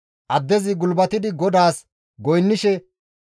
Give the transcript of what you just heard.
Addezi gulbatidi GODAAS goynnishe,